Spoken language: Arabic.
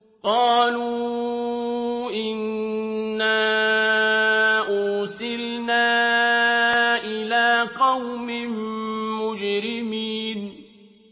قَالُوا إِنَّا أُرْسِلْنَا إِلَىٰ قَوْمٍ مُّجْرِمِينَ